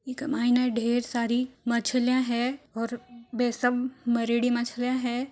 ऐ क माई ने ढेर सारी मछलीया है और वे सब मरेड़ी मछलीया है।